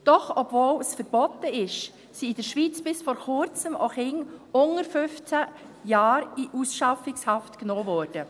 Doch obwohl es verboten ist, sind in der Schweiz bis vor Kurzem auch Kinder unter 15 Jahren in Ausschaffungshaft genommen worden.